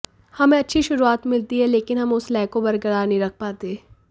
हमें अच्छी शुरुआत मिलती है लेकिन हम उस लय को बरकरार नहीं रख पाते